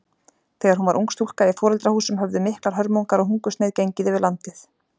Þegar hún var ung stúlka í foreldrahúsum höfðu miklar hörmungar og hungursneyð gengið yfir landið.